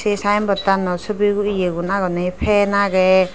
ay sayenboardttnot subi guriye egun fan agey.